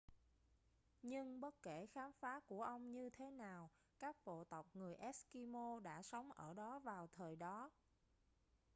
nhưng bất kể khám phá của ông như thế nào các bộ tộc người eskimo đã sống ở đó vào thời đó